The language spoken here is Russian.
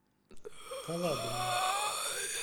калабиной